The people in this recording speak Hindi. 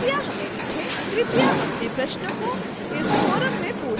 कृपया अपने प्रश्नों को इस forum में post करें